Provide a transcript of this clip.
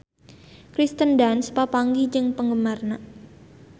Kirsten Dunst papanggih jeung penggemarna